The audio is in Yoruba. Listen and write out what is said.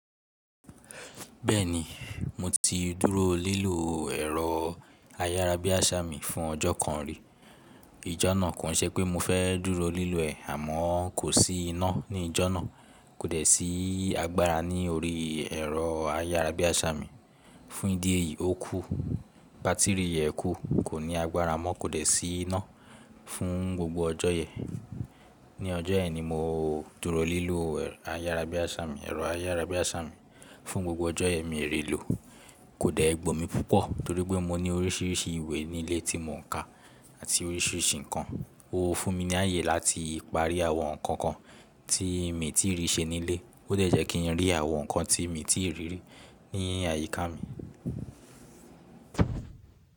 Bẹ́ẹ̀ni, mo ti dúró lílo ẹ̀rọ ayárabíàṣá mi fún ọjọ́ kan rí. Ijọ́ náà kò ń ṣe pé mo fẹ́ dúró lílo ẹ̀, àmọ́ kò sí iná ní ijọ́ náà. Kò dẹ̀ sí agbára ní orí ẹ̀rọ ayárabíàṣá mi. Fún ìdí èyí, ó kú. Bátìrì rẹ̀ kú, kò ní agbára mọ́, kò dẹ̀ sí iná fún gbogbo ọjọ́ yẹn. Ní ọjọ́ yẹn ni mo dúró lílo ẹ̀rọ ayárabíàṣá mi. Ẹ̀rọ ayárabíàṣá mi fún gbogbo ọjọ́ yẹn mi ò rí lò. Kò dẹ̀ gbó mi púpọ̀ torí pé mo ní oríṣiríṣi ìwé nílé tí mò ń ka àti oríṣiríṣi nǹkan. Ó fún mi ní àyè láti parí àwọn nǹkan kan tí mi tí rí ṣe nílé, ó dẹ̀ jẹ́ kí n rí àwọn nǹkan tí mi tí rírí ní àyíká mi.